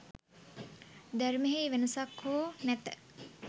ධර්මයෙහි වෙනසක් හෝ නැත.